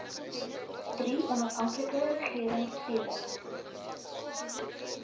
drie onafhanklike regeringsfere